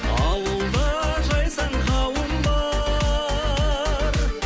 ауылда жайсаң қауым бар